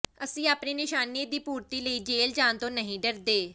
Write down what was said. ਅਸੀਂ ਆਪਣੇ ਨਿਸ਼ਾਨੇ ਦੀ ਪੂਰਤੀ ਲਈ ਜੇਲ ਜਾਣ ਤੋਂ ਨਹੀਂ ਡਰਦੇ